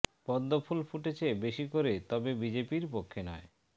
পদ্ম ফুল ফুটেছে বেশি করে তবে বিজেপির পক্ষে নয়